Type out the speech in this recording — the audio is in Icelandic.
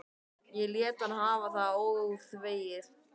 Ég lét hann hafa það óþvegið.